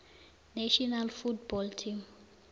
national football team